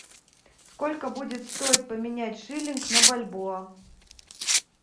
сколько будет стоить поменять шиллинг на бальбоа